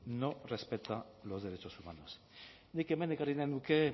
no respeta los derechos humanos nik hemen ekarri nahi nuke